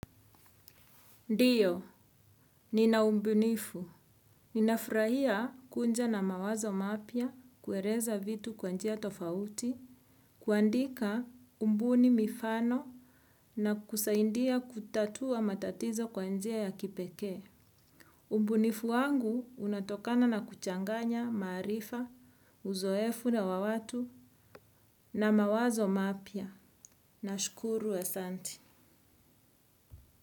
Ndio, nina ubunifu. Ninafurahia kuja na mawazo mapya, kueleza vitu kwanjia tofauti, kuandika kubuni mifano na kusaidia kutatua matatizo kwanjia ya kipekee. Ubunifu wangu unatokana na kuchanganya, maarifa, uzoefu na wawatu na mawazo mapya. Na shukuru asanti.